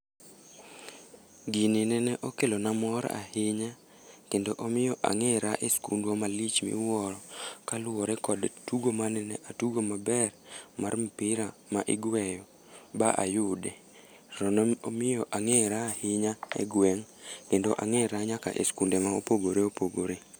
Gini nene okelona mor ahinya, kendo omiyo angéra e skundwa malich miwuoro. Kaluwore kod tugo manene atugo maber, mar mpira ma igweyo ba ayude. To ne omiyo angéra ahinya e gweng' kendo angéra nyaka e skunde ma opogore opogore.